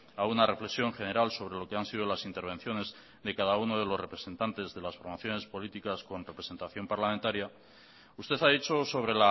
a una reflexión general sobre lo que han sido las intervenciones de cada uno de los representantes de las formaciones políticas con representación parlamentaria usted ha dicho sobre